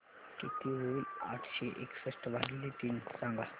किती होईल आठशे एकसष्ट भागीले तीन सांगा